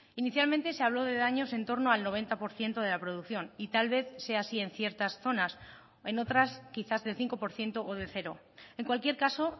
inicialmente se habló de daños en torno al noventa por ciento de la producción y tal vez sea así en ciertas zonas en otras quizás del cinco por ciento o de cero en cualquier caso